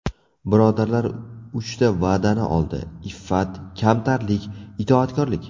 Birodarlar uchta va’dani oldi: iffat, kamtarlik, itoatkorlik.